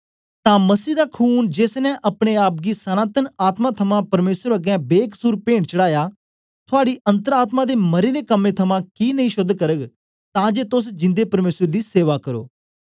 तां मसीह दा खून जेस ने अपने आप गी सनातन आत्मा थमां परमेसर अगें बेकसुर पेंट चढ़ाया थुआड़ी अन्तर आत्मा दे मरे दे कम्में थमां कि नेई शोद्ध करग तां जे तोस जिंदे परमेसर दी सेवा करो